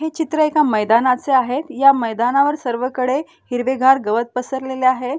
हे चित्र एका मैदानाचे आहे या मैदानावर सर्वकडे हिरवेगार गवत पसरलेले आहे.